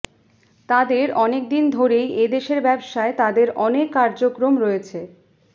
তাদের অনেকদিন ধরেই এদেশের ব্যবসায় তাদের অনেক কার্যক্রম রয়েছে